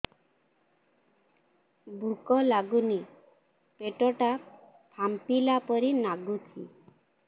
ଭୁକ ଲାଗୁନି ପେଟ ଟା ଫାମ୍ପିଲା ପରି ନାଗୁଚି